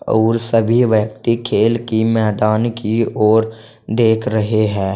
और सभी व्यक्ति खेल की मैदान की ओर देख रहे है।